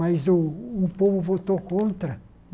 Mas o o povo votou contra.